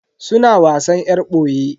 Suna wasan yar boye.